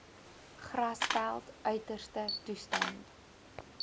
grasveld uiterste toestande